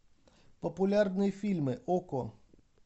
популярные фильмы окко